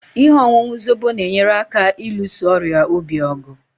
Ihe ọṅụṅụ Zobo na-enyere aka ịlụso ọrịa obi ọgụ